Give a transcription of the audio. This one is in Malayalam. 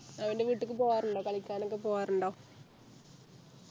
അവൻ്റെ വീട്ടിക്ക് പോകാറുണ്ടോ കളിക്കാനൊക്കെ പോകാറുണ്ടോ